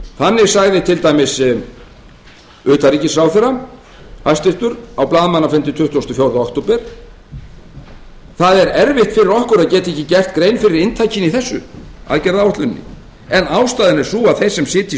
þannig sagði til dæmis hæstvirtur utanríkisráðherra á blaðamannafundi tuttugasta og fjórða október það er erfitt fyrir okkur að geta ekki gert grein fyrir inntakinu í þessu aðgerðaáætluninni en ástæðan er sú að þeir sem sitja